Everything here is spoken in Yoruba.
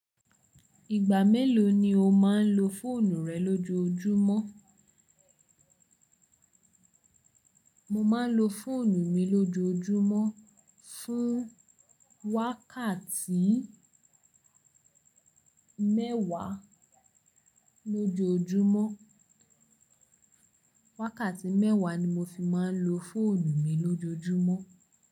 Ìgbà mélòó ni o máa ń lo fóònù rẹ lójoójúmọ́? Mo máa ń lo fóònù mi lójoójúmọ́ fún wákàtí mẹ́wàá lójoójúmọ́. Wákàtí mẹ́wàá ni mo fi máa ń lo fóònù mi lójoójúmọ́.